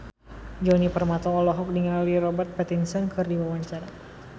Djoni Permato olohok ningali Robert Pattinson keur diwawancara